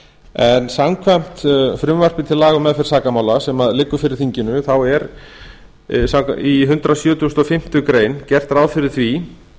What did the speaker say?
en samkvæmt frumvarpi til laga um meðferð sakamála sem liggur fyrir þinginu þá er í hundrað sjötugasta og fimmtu grein gert ráð fyrir því